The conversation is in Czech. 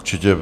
Určitě.